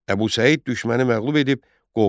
Əbu Səid düşməni məğlub edib qovdu.